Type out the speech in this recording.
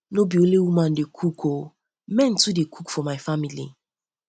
no um be only women dey cook dey cook um o men too um dey cook for my family